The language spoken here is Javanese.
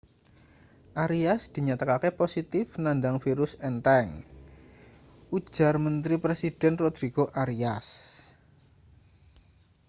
arias dinyatakake positif nandang virus entheng ujar menteri presiden rodrigo arias